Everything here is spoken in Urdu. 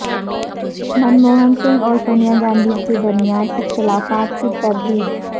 من موہن سنگھ اور سونیا گاندھی کے درمیان اختلافات کی تردید